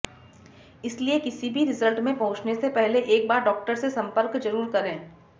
इसलिए किसी भी रिजल्ट में पहुंचने से पहले एक बार डॉक्टर से जरुर संपर्क करें